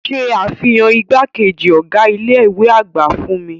Ṣe afihan igbakeji ọga ile-iwe agba fun mi!